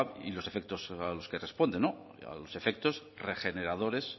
y los efectos a los que responde los efectos regeneradores